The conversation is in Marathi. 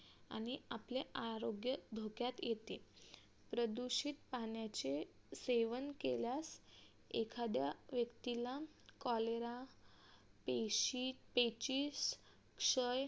आणि आपले आरोग्य धोक्यात येते प्रदूषित पाण्याचे सेवन केल्यास एखाद्या व्यक्तीला cholera पेशी क्षय